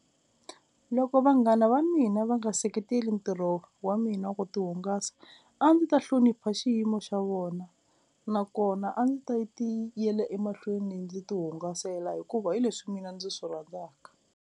Loko vanghana va mina va nga seketeli ntirho wa mina wo ti hungasa a ndzi ta hlonipha xiyimo xa vona nakona a ndzi ta ti yela emahlweni ndzi ti hungasela hikuva hi leswi mina ndzi swi rhandzaka.